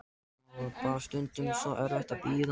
Það var bara stundum svo erfitt að bíða.